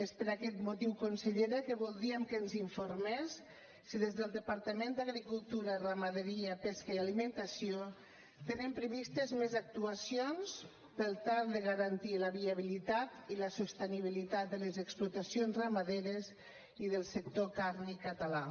és per aquest motiu consellera que voldríem que ens informés si des del departament d’agricultura ramaderia pesca i alimentació tenen previstes més actuacions per tal de garantir la viabilitat i la sostenibilitat de les explotacions ramaderes i del sector càrnic català